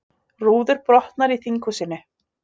Rúður brotnar í þinghúsinu